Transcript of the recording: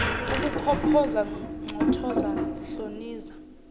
ukukhophoza nxothoza hloniza